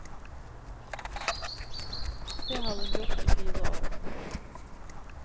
Det har hun gjort i fire år.